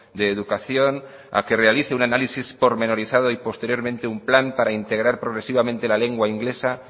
de educación a que realice un análisis pormenorizado y posteriormente un plan para integrar progresivamente la lengua inglesa